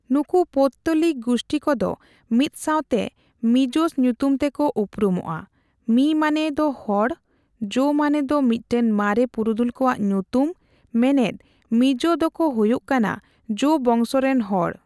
ᱱᱩᱠᱩ ᱯᱳᱛᱛᱚᱞᱤᱠ ᱜᱩᱥᱴᱤ ᱠᱚᱫᱚ ᱢᱤᱫᱥᱟᱣᱛᱮ ᱢᱤᱡᱳᱥ ᱧᱩᱛᱩᱢ ᱛᱮᱠᱚ ᱩᱯᱨᱩᱢᱚᱜᱼᱟ, ᱢᱤ ᱢᱟᱱᱮ ᱫᱚ ᱦᱚᱲ, ᱡᱳ ᱢᱟᱱᱮ ᱫᱚ ᱢᱤᱫᱴᱟᱝ ᱢᱟᱨᱮ ᱯᱩᱨᱩᱫᱷᱩᱞ ᱠᱚᱣᱟᱜ ᱧᱩᱛᱩᱢ, ᱢᱮᱱᱮᱫ, ᱢᱤᱡᱳ ᱫᱚᱠᱚ ᱦᱩᱭᱩᱜ ᱠᱟᱱᱟ ᱡᱳ ᱵᱚᱝᱥᱚ ᱨᱮᱱ ᱦᱚᱲ ᱾